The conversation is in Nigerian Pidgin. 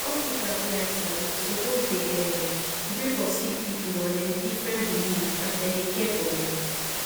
hospitas wey i sabi suppos dey erm gree for sicki pipu and dem differnt belief as dem dey care for dem